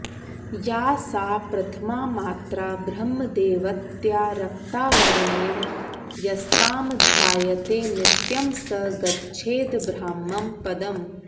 या सा प्रथमा मात्रा ब्रह्मदैवत्या रक्ता वर्णेन यस्तां ध्यायते नित्यं स गच्छेद्ब्राह्मं पदम्